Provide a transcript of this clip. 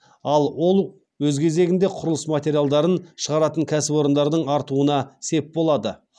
ал ол өз кезегінде құрылыс материалдарын шығаратын кәсіпорындардың артуына сеп болады